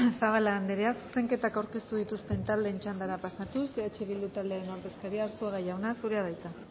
zabala anderea zuzenketak aurkeztu dituzten taldeen txandara pasatuz eh bildu taldearen ordezkaria arzuaga jauna zurea da hitza